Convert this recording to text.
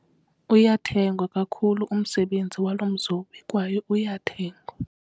Uyathengwa kakhulu umsebenzi walo mzobi kwaye uyathengwa.